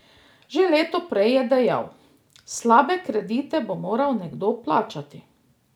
Že leto prej je dejal: "Slabe kredite bo moral nekdo plačati.